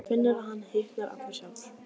Finnur að hann hitnar allur sjálfur.